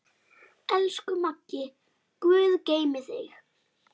Elsku Maggi, guð geymi þig.